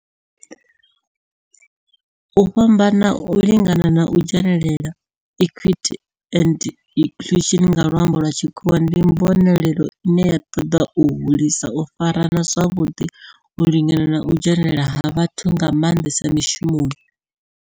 U fhambana, u lingana na u dzhenelela diversity, equity and inclusion nga lwambo lwa tshikhuwa ndi mbonelelo ine ya toda u hulisa u farana zwavhudi, u lingana na u dzhenelela ha vhathu nga mandesa mishumoni.